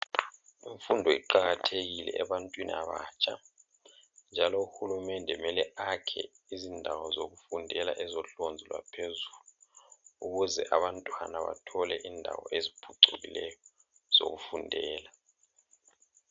Imfundo iqakathekile ebantwini abatsha njalo uhulumende mele akhe izindawo zokufundela ezohlonze lwaphezulu ukuze abantwana bathole indawo eziphucukileyo zokufundela.